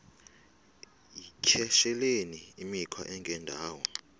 yityesheleni imikhwa engendawo